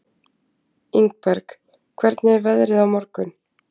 Ingberg, hvernig er veðrið á morgun?